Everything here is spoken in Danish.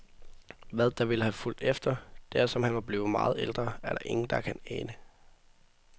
Hvad der ville have fulgt efter, dersom han var blevet meget ældre, er der ingen, der kan ane.